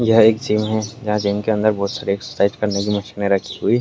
यह एक जिम है। यहाँ जिम के अंदर बहोत सारे एक्सरसाइज करने की मशीन रखी हुई --